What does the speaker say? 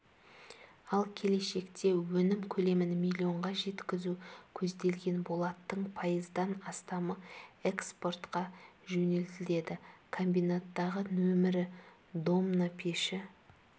ал келешекте өнім көлемін миллионға жеткізу көзделген болаттың пайыздан астамы экспортқа жөнелтіледі комбинаттағы нөмірі домна пеші